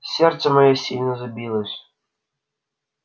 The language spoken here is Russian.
сердце моё сильно забилось